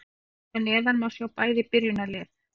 Hér að neðan má sjá bæði byrjunarlið.